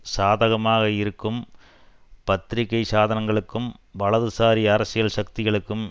சாதகமாக இருக்கும் பத்திரிக்கை சாதனங்களுக்கும் வலதுசாரி அரசியல் சக்திகளுக்கும்